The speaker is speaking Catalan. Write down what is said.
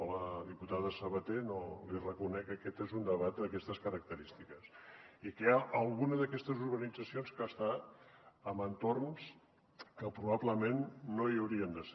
a la diputada sabater li reconec que aquest és un debat d’aquestes característiques i que hi ha alguna d’aquestes urbanitzacions que està en entorns que probablement no hi haurien de ser